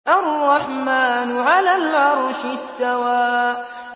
الرَّحْمَٰنُ عَلَى الْعَرْشِ اسْتَوَىٰ